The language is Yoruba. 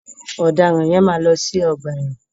Ọ̀dàràn yẹn máa lọ sí ọgbà ẹ̀wọ̀n.